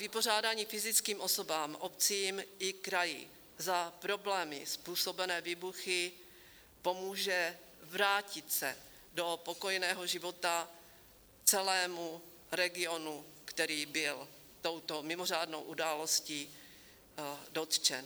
Vypořádání fyzickým osobám, obcím i kraji za problémy způsobené výbuchy pomůže vrátit se do pokojného života celému regionu, který byl touto mimořádnou událostí dotčen.